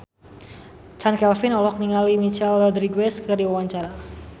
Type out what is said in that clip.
Chand Kelvin olohok ningali Michelle Rodriguez keur diwawancara